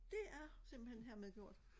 Det er simpelthen hermed gjort